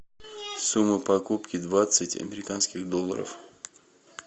сумма покупки двадцать американских долларов